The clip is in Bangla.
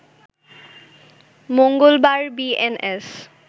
মঙ্গলবার বিএনএস